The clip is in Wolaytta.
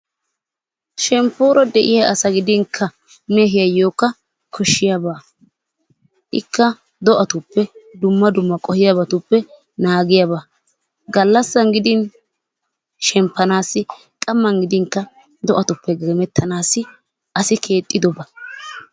Shemppoora de'iya asa gidinkka mehiyayyookka koshshiyaba. Ikka do'atuppe dumma dumma qohiyabatuppe naagiyaba. Gallassan gidin shemppanaassi qamman gidinkka do'atuppe geemettanaassi asi keexxidoba.